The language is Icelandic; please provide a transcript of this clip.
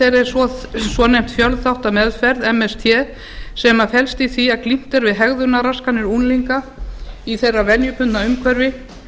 þeirra er svonefnd fjölþáttameðferð sem felst í því að glímt er við hegðunarraskanir unglinga í þeirra venjubundna umhverfi